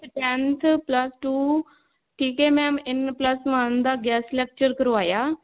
tenth plus two ਠੀਕ ਹੈ mam plus one ਦਾ guest lecture ਕਰਵਾਇਆ